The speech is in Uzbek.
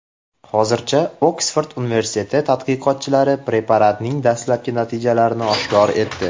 Hozircha Oksford universiteti tadqiqotchilari preparatning dastlabki natijalarini oshkor etdi.